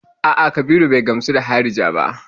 A'a, Kabiru bai gamsu da harija ba.